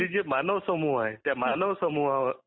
मानव समुहाला त्या मानव समुह